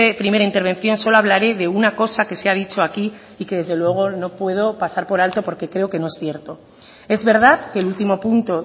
primera intervención solo hablare de una cosa que se ha dicho aquí y que desde luego no puedo pasar por alto porque creo que no es cierto es verdad que el último punto